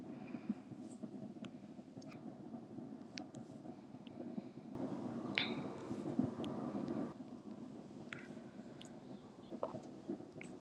.